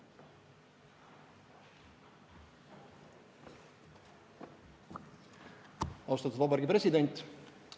Austatud Vabariigi President!